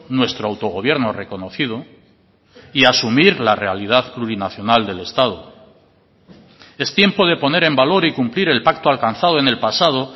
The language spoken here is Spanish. nuestro autogobierno reconocido y asumir la realidad plurinacional del estado es tiempo de poner en valor y cumplir el pacto alcanzado en el pasado